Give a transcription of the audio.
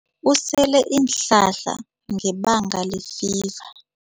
Usele iinhlahla ngebanga lefiva.